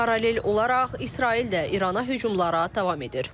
Paralel olaraq İsrail də İrana hücumlara davam edir.